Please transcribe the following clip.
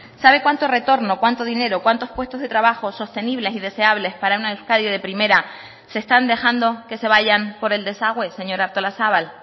sabe cuánto retorno cuánto dinero cuántos puestos de trabajo sostenibles y deseables para una euskadi de primera se están dejando que se vayan por el desagüe señora artolazabal